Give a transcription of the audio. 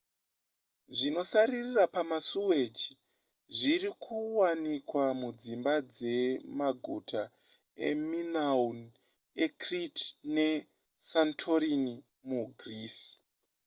zvinosaririra pamasuweji zvirikuwanikwa mudzimba dze maguta eminoan ecrete nesantorini mugreece